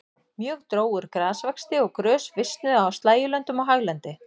Mjög dró úr grasvexti og grös visnuðu á slægjulöndum og haglendi.